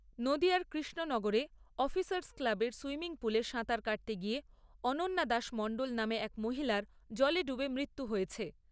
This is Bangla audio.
নদীয়ার কৃষ্ণনগরে অফিসার্স ক্লাবের সুইমিং পুলে সাঁতার কাটতে গিয়ে অনন্যা দাশ মণ্ডল নামে এক মহিলার জলে ডুবে মৃত্যু হয়েছে।